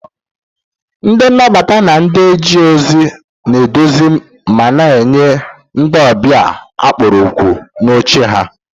Ndị nnabata na ndị na-eje ozi na-eduzi ma na-enye ndị ọbịa a kpọrọ òkù n'oche ha